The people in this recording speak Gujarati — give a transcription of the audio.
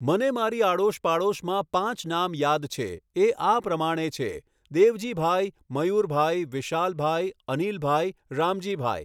મને મારી આડોશ પાડોશમાં પાંચ નામ યાદ છે એ આ પ્રમાણે છે, દેવજીભાઈ, મયુરભાઈ, વિશાલભાઈ, અનિલભાઈ, રામજીભાઈ